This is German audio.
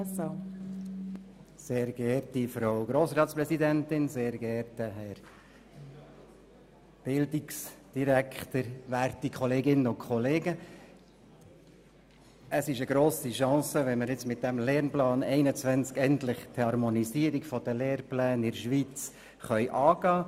Es ist eine grosse Chance, wenn wir mit dem Lehrplan 21 endlich die Harmonisierung der Lehrpläne in der Schweiz angehen können.